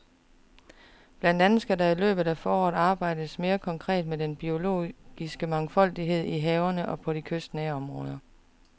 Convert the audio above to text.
Blandt andet skal der i løbet af foråret arbejdes mere konkret med den biologiske mangfoldighed i havene og i de kystnære områder.